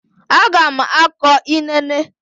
A ga m akọ inene.